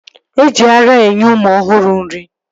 Eji ara enye ụmụ ọhụrụ nri